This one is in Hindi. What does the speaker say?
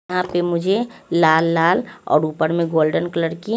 यहा पे मुझे लाल लाल और उपर में गोल्डन कलर की--